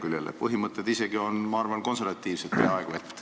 Ma arvan, et need põhimõtted on isegi peaaegu et konservatiivsed.